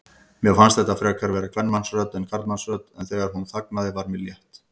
Mér fannst þetta frekar vera kvenmannsrödd en karlmannsrödd, en þegar hún þagnaði var mér létt.